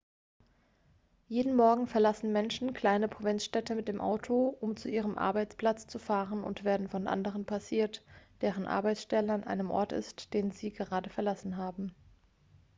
jeden morgen verlassen menschen kleine provinzstädte mit dem auto um zu ihrem arbeitsplatz zu fahren und werden von anderen passiert deren arbeitsstelle an dem ort ist den sie gerade verlassen haben